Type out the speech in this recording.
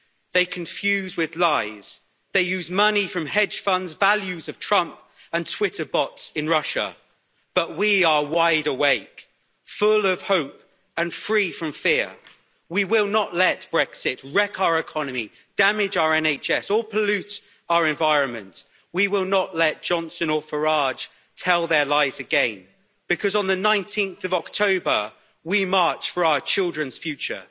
They confuse with lies, they use money from hedge funds, the values of Trump and Twitter bots in Russia, but we are wide awake, full of hope and free from fear. We will not let Brexit wreck our economy, damage our NHS or pollute our environment. We will not let Johnson or Farage tell their lies again, because on 19 October, we march for our children's future.